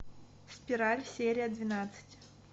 спираль серия двенадцать